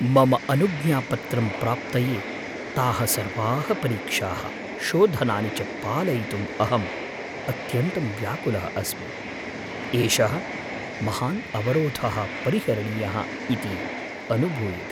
मम अनुज्ञापत्रंप्राप्तये ताः सर्वाः परीक्षाः, शोधनानि च पालयितुम् अहं अत्यन्तं व्याकुलः अस्मि। एषः महान् अवरोधः परिहरणीयः इति अनुभूयते।